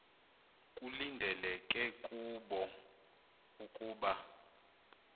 kulindeleke kubo ukuba